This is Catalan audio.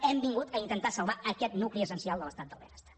hem vingut a intentar salvar aquest nucli essencial de l’estat del benestar